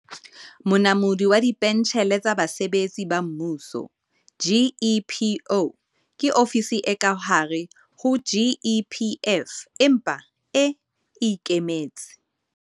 Monamodi wa Dipentjhele tsa Basebetsi ba Mmuso, GEPO, ke ofisi e ka hare ho GEPF, empa e e ikemetse.